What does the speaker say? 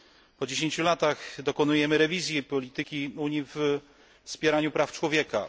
Po 10 latach dokonujemy rewizji polityki Unii w zakresie wspierania praw człowieka.